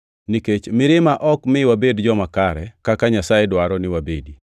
nikech mirima ok mi wabed joma kare kaka Nyasaye dwaro ni wabedi.